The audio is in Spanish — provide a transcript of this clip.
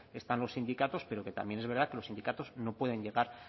están los sindicatos pero que también es verdad que los sindicatos no pueden llegar